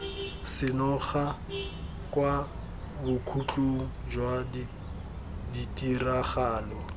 senoga kwa bokhutlong jwa ditiragalo